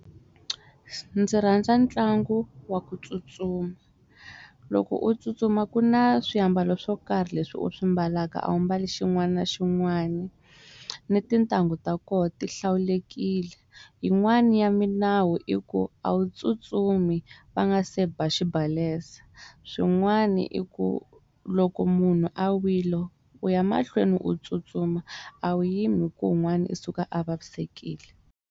Ndzi rhandza ntlangu wa ku tsutsuma loko u tsutsuma ku na swiambalo swo karhi leswi u swi ambalaka ambali xin'wana na xin'wana ni tintangu ta koho ti hlawulekile yin'wani ya milawu i ku a wu tsutsumi va nga se ba xibalesa swin'wana i ku loko munhu a wile u ya mahlweni u tsutsuma a wu yimi ku un'wana u suka a vavisekile.